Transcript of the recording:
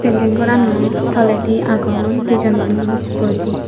building gorano toledi agon dijhon manuj bujhi.